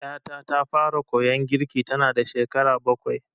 Ƴata ta fara koyon girki tanada shekara bakwai.